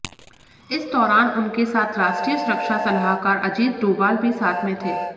इस दौरान उनके साथ राष्ट्रीय सुरक्षा सलाहकार अजीत डोभाल भी साथ में थे